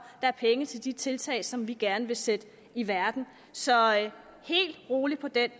er penge til de tiltag som vi gerne vil sætte i verden så bare rolig på det